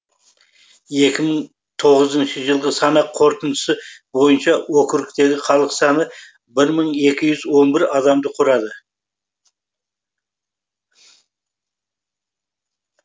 екі мың тоғызыншы жылғы санақ қорытындысы бойынша округтегі халық саны бір мың екі жүз он бір адамды құрады